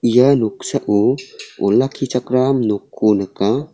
ia noksao olakkichakram nokko nika.